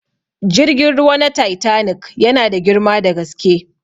Jirgin ruwa na titanic yana da girma da gaske.